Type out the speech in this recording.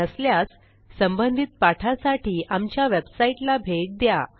नसल्यास संबधित पाठासाठी आमच्या वेबसाईटला भेट द्या